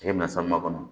Tigɛ bɛna kɔnɔ